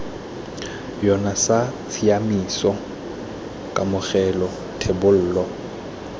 yona sa tshiaimiso kamogelo thebolo